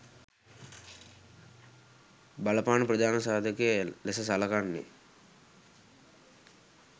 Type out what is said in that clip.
බලපාන ප්‍රධාන සාධකය ලෙස සලකන්නේ